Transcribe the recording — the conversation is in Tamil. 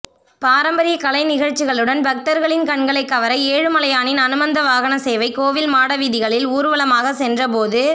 பாரம்பரிய கலை நிகழ்ச்சிகளுடன் பக்தர்களின் கண்களை கவர ஏழுமலையானின் அனுமந்த வாகன சேவை கோவில் மாடவீதிகளில் ஊர்வலமாக சென்ற போது